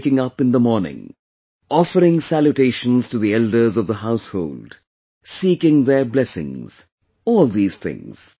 Waking up in the morning, offering salutation to the elders of the household, seeking their blessings all these things